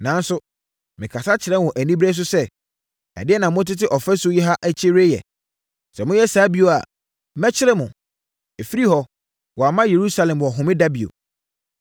Nanso, mekasa kyerɛɛ wɔn anibereɛ so sɛ, “Ɛdeɛn na motete ɔfasuo yi akyi reyɛ? Sɛ moyɛ saa bio a, mɛkyere mo!” Ɛfiri hɔ, wɔamma Yerusalem wɔ Homeda bio.